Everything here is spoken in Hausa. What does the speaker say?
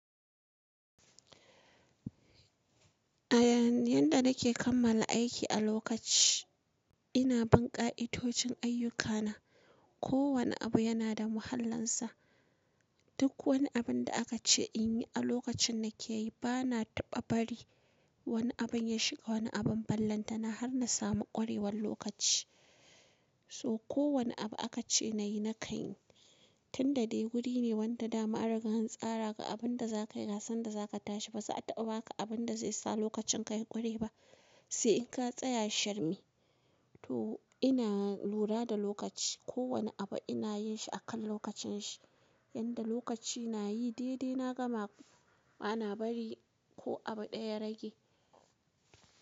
A yanda nake kammala aiki a lokaci, ina bin ƙa'idojin ayyukana. Ko wane abu yana da muhallinsa. Duk wani abun da aka ce in yi a lokacin nake yi, bana taɓa bari wani abun ya shiga wani abun ballantana har na samu ƙwarewan lokaci. So ko wane abu aka ce na yi na ka yin. Tunda dai guri ne wanda dama an riga an tsara ga abun da za ka yi da sanda za ka tashi. Ba za a taɓa ba ka abun da zai sa lokacin ka yi kure ba, sai in ka shirme. To ina lura da lokaci, ko wane abu ina yin shi a kan lokacin shi. Yanda lokaci na yi dai-dai na gama, bana bari ko abu ɗaya rage.